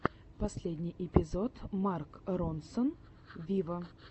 последний эпизод марк ронсон виво